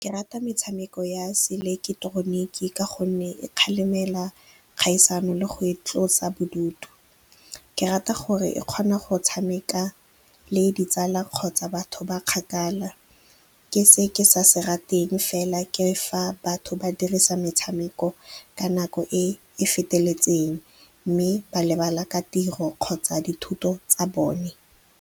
Ke rata metshameko ya se ileketeroniki ka gonne e kgalemela kgaisano le go e tlosa bodutu. Ke rata gore e kgona go tshameka le ditsala kgotsa batho ba kgakala. Ke se ke sa se rateng fela ke fa batho ba dirisa metshameko ka nako e e feteletseng mme ba lebala ka tiro kgotsa dithuto tsa bone.